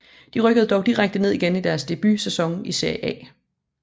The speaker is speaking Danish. De rykkede dog direkte ned igen i deres debutsæson i Serie A